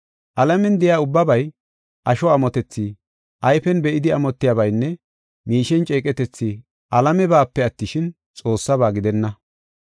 Alamen de7iya ubbabay, asho amotethi, ayfen be7idi amotiyabaynne miishen ceeqetethi alamebape attishin, Xoossafe gidenna.